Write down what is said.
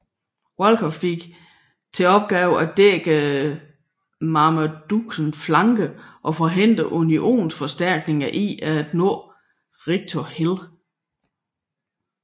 Walker fik til opgave at dække Marmadukes flanke og forhindre unionsforstærkninger i at nå Rightor Hill